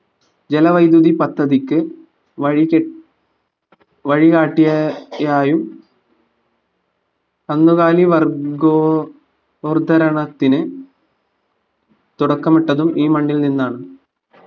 ജലവൈദ്യുതി പദ്ധതിക്ക് വഴി കെട്ടി വഴി കാട്ടി യായും കന്നുകാലി വർഗോ ഗോർദരണത്തിന് തുടക്കമിട്ടതും ഈ മണ്ണിൽ നിന്നാണ്